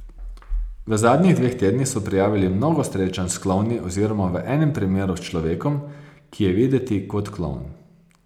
V zadnjih dveh tednih so prijavili mnogo srečanj s klovni oziroma v enem primeru s človekom, ki je videti kot klovn.